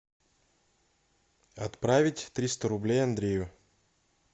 отправить триста рублей андрею